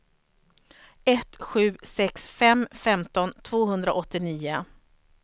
ett sju sex fem femton tvåhundraåttionio